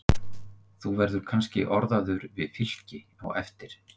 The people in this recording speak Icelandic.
Þú verður kannski orðaður við Fylki á eftir?